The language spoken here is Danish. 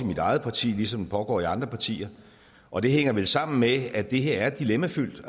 mit eget parti ligesom den pågår i andre partier og det hænger vel sammen med at det her er dilemmafyldt